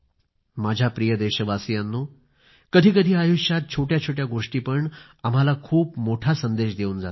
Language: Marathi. माझ्या प्रिय देशवासीयांनो कधीकधी आयुष्यात छोट्या छोट्या गोष्टी पण आम्हाला खूप मोठा संदेश देऊन जातात